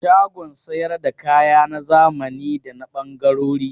Shagon sayar da kaya na zamani da na ɓangarori.